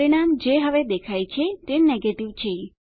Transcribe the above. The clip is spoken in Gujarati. પરિણામ જે હવે દેખાય છે તે નેગેટિવ છે